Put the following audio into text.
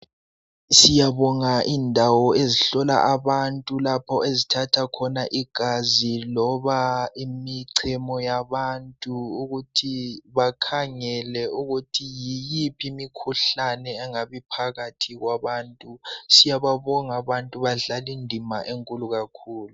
Siyabonga indawo ezihlola abantu lapho ezithatha khona igazi loba imichemo yabantu ukuthi bakhangele ukuthi yiyiphi imikhuhlane engabe iphakathi kwabantu siyababonga abantu badlala indima enkulu kakhulu.